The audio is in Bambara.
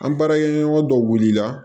An baarakɛɲɔgɔn dɔw wuli la